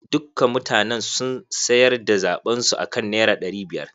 Dukka mutanen sun sayar da zaɓen su akan naira ɗari biyar.